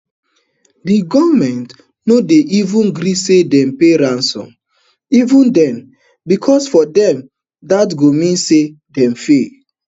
di goment no go eva gree say dem pay ransom [even den] becos for dem dat go mean say dem fail